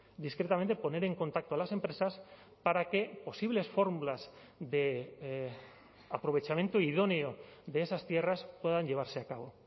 discretamente poner en contacto a las empresas para que posibles fórmulas de aprovechamiento idóneo de esas tierras puedan llevarse a cabo